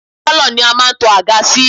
Pálọ̀ ni a máa ń kó àga sí